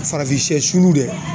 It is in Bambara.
Farafin sɛ sulu dɛ